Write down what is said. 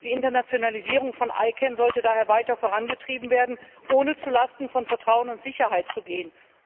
Die Internationalisierung von ICANN sollte daher weiter vorangetrieben werden, ohne zu Lasten von Vertrauen und Sicherheit zu gehen.